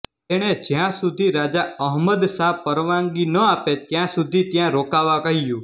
તેણે જ્યાં સુધી રાજા અહમદ શાહ પરવાનગી ન આપે ત્યાં સુધી ત્યાં રોકાવા કહ્યું